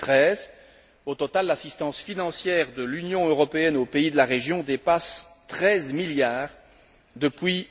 2013. Au total, l'assistance financière de l'Union européenne aux pays de la région dépasse 13 milliards depuis